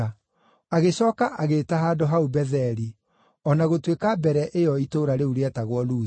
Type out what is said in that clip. Agĩcooka agĩĩta handũ hau Betheli, o na gũtuĩka mbere ĩyo itũũra rĩu rĩetagwo Luzu.